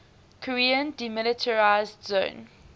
korean demilitarized zone